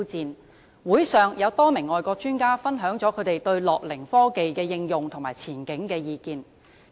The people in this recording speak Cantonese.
論壇上，多名外國專家分享了他們對樂齡科技的應用和前景的意見。